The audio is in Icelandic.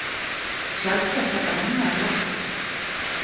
Sjaldgæft að sólbrenna í október